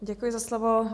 Děkuji za slovo.